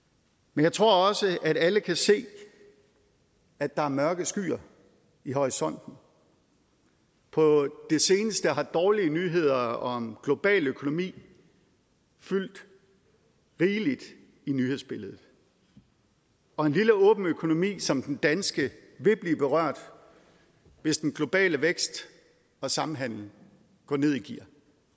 men jeg tror også at alle kan se at der er mørke skyer i horisonten på det seneste har dårlige nyheder om global økonomi fyldt rigeligt i nyhedsbilledet og en lille åben økonomi som den danske vil blive berørt hvis den globale vækst og samhandel går ned i gear